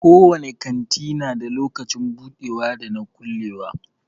Ko wani kanti na da lokacin budewa da na kulewa.